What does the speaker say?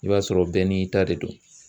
I b'a sɔrɔ bɛɛ n'i ta de don